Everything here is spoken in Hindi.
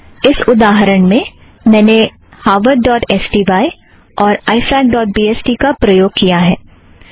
इस उदाहरण में मैंने Harvard dot S T Y harvardस्टाई और I fac dot B S T ifacबीएसटी का प्रयोग किया है